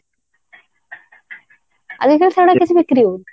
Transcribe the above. ଆଜିକାଲି ସେଇଗୁଡା କିଛି ବିକ୍ରି ହଉନି